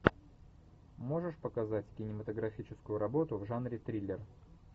можешь показать кинематографическую работу в жанре триллер